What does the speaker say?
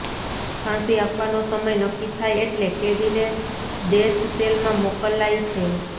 ફાંસી આપવાનો સમય નક્કી થાય એટલે કેદીને ડેથ સેલમાં મોકલાય છે